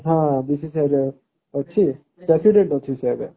ହଁ ରେ ଅଛି president ଅଛି ସିଏ ଏବେ